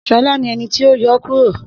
Shola ni ẹni ti o yọ kuro.